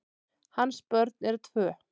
Hans börn eru tvö.